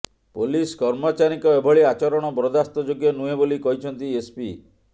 police କର୍ମଚାରୀଙ୍କ ଏଭଳି ଆଚରଣ ବରଦାସ୍ତ ଯୋଗ୍ୟ ନୁହେଁ ବୋଲି କହିଛନ୍ତି ଏସପି